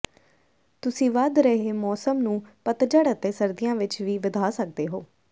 ਤੁਸੀਂ ਵਧ ਰਹੇ ਮੌਸਮ ਨੂੰ ਪਤਝੜ ਅਤੇ ਸਰਦੀਆਂ ਵਿੱਚ ਵੀ ਵਧਾ ਸਕਦੇ ਹੋ